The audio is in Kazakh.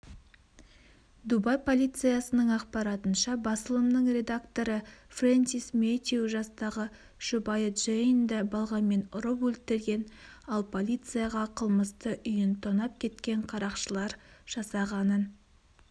дубай полициясының ақпаратынша басылымының редакторы фрэнсис мэтью жастағы жұбайы джейнді балғамен ұрып өлтірген ал полицияға қылмысты үйін тонап кеткен қарақшылар жасағанын